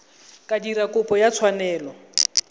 ka dira kopo ya tshwanelo